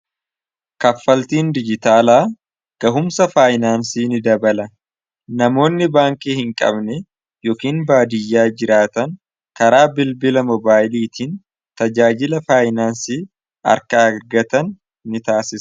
Kaffaltiin dijitaalaa gahumsa faayinaansii ni dabala. Namoonni baankii hin qabne yookiin baadiyyaa jiraatan karaa bilbila mobaayiliitiin tajaajila faayinaansii akka argatan ni taassisa.